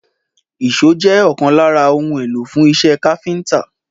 Ìṣó jẹ́ ọ̀kan lára ohun èlò fún iṣẹ́ káfíńtà